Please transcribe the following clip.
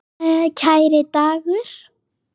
Kæri Dagur.